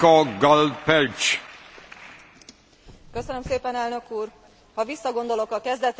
Ha visszagondolok a kezdetekre, akkor a képviselőtársaim performanszai elsőként jutnak eszembe.